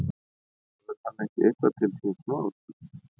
Hefur hann ekki eitthvað til síns máls?